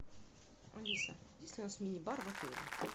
алиса есть ли у нас мини бар в отеле